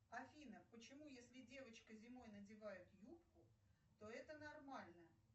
афина почему если девочка зимой надевает юбку то это нормально